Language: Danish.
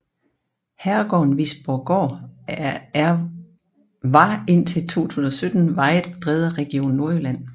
Herregården Visborggård er var indtil 2017vejet og drevet af Region Nordjylland